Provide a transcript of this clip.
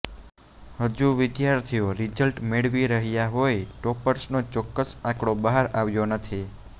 હજુ વિદ્યાર્થીઓ રિઝલ્ટ મેળવી રહ્યાં હોય ટોપર્સનો ચોક્કસ આંકડો બહાર આવ્યો નથી